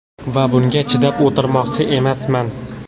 Va bunga chidab o‘tirmoqchi emasman.